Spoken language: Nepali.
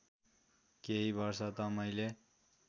केही वर्ष त मैले